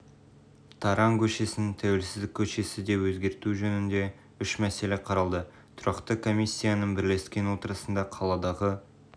таран көшесін тәуелсіздік көшесі деп өзгерту жөнінде үш мәселе қаралды тұрақты комиссияның бірлескен отырысына қаладағы